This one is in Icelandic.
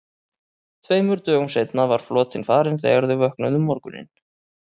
Tveimur dögum seinna var flotinn farinn þegar þau vöknuðu um morguninn.